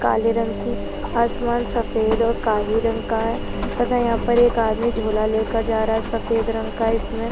काले रंग कि आसमान सफेद और काही रंग का है तथा यहाँ पर एक आदमी झोला लेकर जा रहा है सफेद रंग का इसमे--